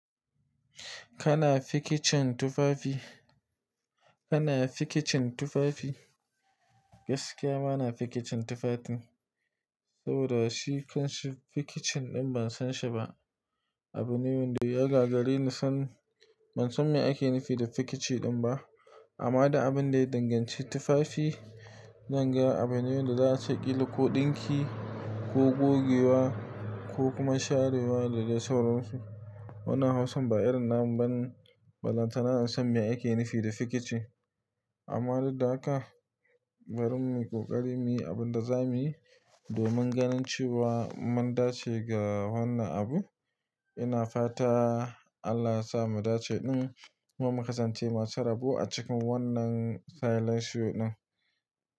Kana fikicin tufafi? Kana fikicin tufafi? Gaskiya ma na fikicin tufafi. Saboda shi kanshi fikicin ɗin ban san shi ba. Abu ne da ya gagare ni sani ban san me ake nufi da fikici ɗin ba. Amma da abin da ya danganci tufafi, zan ga abin yawan da za a saki ko ɗinki ko gogewa ko kuma sharewa da dai sauransu. Wannan Hausan ba irin na mu bane balantana in san me ake nufi da fikici. Amma dak da haka bari mu yi ƙoƙari muyi abin da za mu yi domin ganin cewa mun dace ga wannan abu. Ina fata Allah ya sa mu dace ɗin. Mun makasanta masu rabo a cikin wannan salasho ɗin.